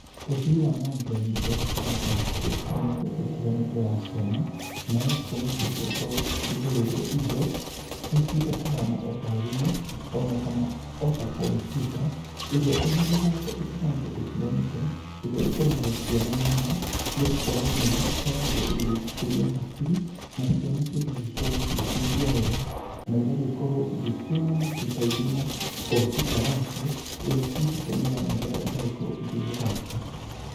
ũthii wa na mbere nĩ ũrehete mĩthako ĩtiganĩte ĩtiganĩte ya ciana, nayo ciana cigakorwo cikĩgũrĩrwo indo ithiĩte kuhana ota thimu ona kana ota kompyuta iria ina mĩthako ĩtiganĩte ĩtiganĩte ĩrĩa ĩkenagia ciana mũno nĩgũkorwo nĩ ĩkoragwo igĩcikũria hakiri na ciana cigagĩkorwo cigĩkĩigua wega na igagĩkorwo igĩkiona nacio ta ire na kompyuta yacio ĩrĩa cigũtũmĩra nĩgetha igagĩkorwo igĩthaka.